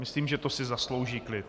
Myslím, že to si zaslouží klid.